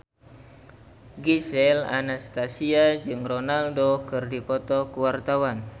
Gisel Anastasia jeung Ronaldo keur dipoto ku wartawan